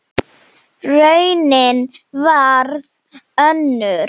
Raunin varð önnur.